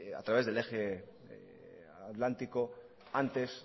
a través del eje atlántico antes